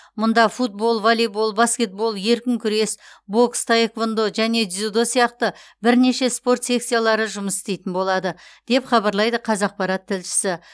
мұнда футбол волейбол баскетбол еркін күрес бокс таэквондо және дзюдо сияқты бірнеше спорт секциялары жұмыс істейтін болады деп хабарлайды қазақпарат тілшісі